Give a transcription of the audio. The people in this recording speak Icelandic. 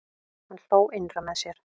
Hann hló innra með sér.